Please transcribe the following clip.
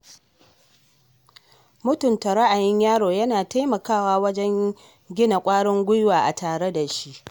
Mutunta ra’ayin yaro yana taimakawa wajen gina ƙwarin gwiwa a tare da shi.